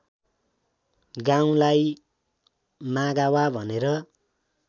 गाउँलाई मागावा भनेर